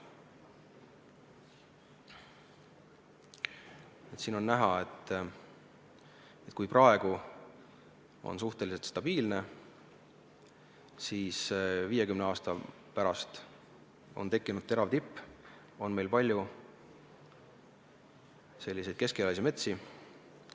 Graafikult on näha, et praegu on seis suhteliselt stabiilne, aga 50 aasta pärast on tekkinud terav tipp, meil on palju keskealisi metsi.